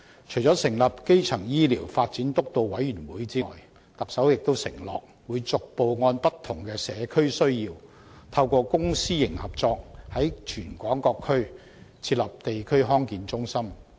除成立基層醫療健康發展督導委員會外，特首又承諾會逐步按不同的社區需要，透過公私營合作，在全港各區設立地區康健中心。